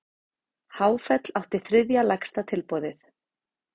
Háfell átti þriðja lægsta tilboðið